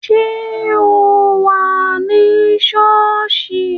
Ṣé o wà ní sọ́ọ̀sì?